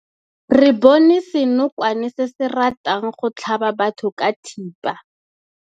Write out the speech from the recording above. Re bone senokwane se se ratang go tlhaba batho ka thipa.